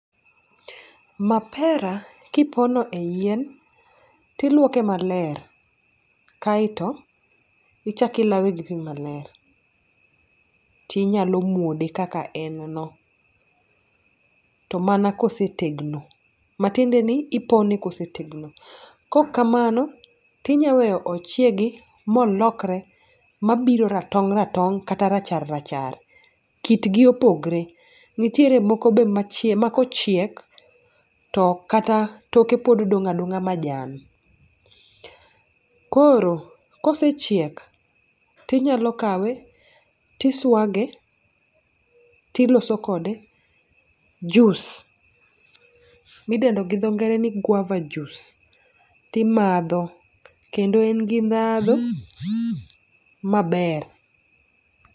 Mapera kipono e yien tilwoke maler, kaeto ichakilawe gi pi maler. Tinyalo muode kaka en no, to mana kosetegno, matiende ni ipone kosetegno. Kok kamano, tinyaweyo ochiegi molokre mabiro ratong' ratong' kata rachar rachar. Kitgi opogre, nitiere moko be ma kochiek to kata toke pod dong' adong'a majan. Koro kosechiek tinyalo kawe, tiswage tiloso kode juus midendo gidho ngere ni guava juice. Timadho, kendo en gi ndhando maber.